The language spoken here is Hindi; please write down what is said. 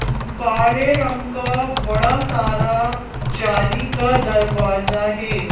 काले रंग का बड़ा सारा जाली का दरवाजा हे।